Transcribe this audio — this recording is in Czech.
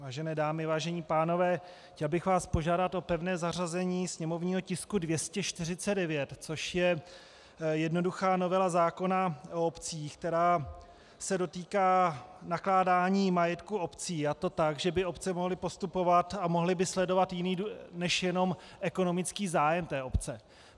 Vážené dámy, vážení pánové, chtěl bych vás požádat o pevné zařazení sněmovního tisku 249, což je jednoduchá novela zákona o obcích, která se dotýká nakládání majetku obcí, a to tak, že by obce mohly postupovat a mohly by sledovat jiný než jenom ekonomický zájem té obce.